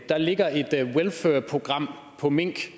der ligger et welfurprogram for mink